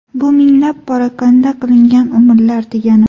Bu minglab parokanda qilingan umrlar, degani.